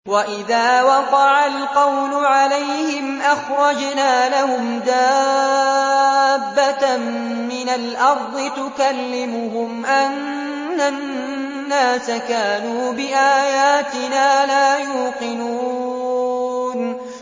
۞ وَإِذَا وَقَعَ الْقَوْلُ عَلَيْهِمْ أَخْرَجْنَا لَهُمْ دَابَّةً مِّنَ الْأَرْضِ تُكَلِّمُهُمْ أَنَّ النَّاسَ كَانُوا بِآيَاتِنَا لَا يُوقِنُونَ